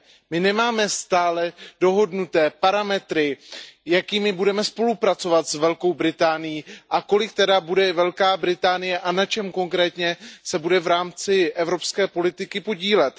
My nemáme stále dohodnuté parametry, jakými budeme spolupracovat s Velkou Británií, a jak se tedy bude Velká Británie a na čem konkrétně v rámci evropské politiky podílet.